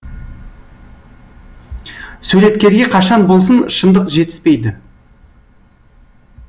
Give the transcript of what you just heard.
суреткерге қашан болсын шындық жетіспейді